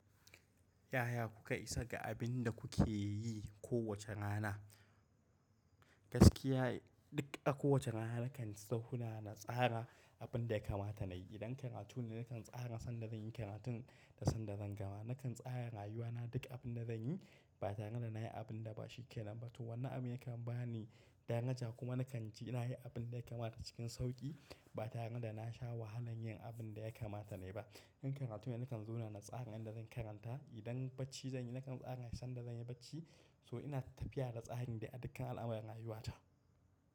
Yaya kuka isa ga abin da kuke yi kowace rana? Gaskiya dik a kowace rana nakan sahuna na tsara abin da ya kamata nayi. Idan karatun ne nkan tsara san da zanyi karatin da san da zan gama. Nakan tsara rayuwa na dik abin da zanyi ba tare da nayi abin da bashi ke nan ba. To wanna abin ya kan bani danaja kuma nakan ji inayi abin da ya kamata cikin sauƙi ba tare da nasha wahalan yin abin da ya kamata nai ba. In karatu ne nikan zona na tsara yanda zan karanta, idan bacci zanyi nakan tsara san da zanyi bacci. To ina tapiya da tsarin da a dikkan al'amuran rayuwa ta.